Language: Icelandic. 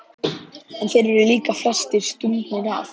En þeir eru líka flestir stungnir af.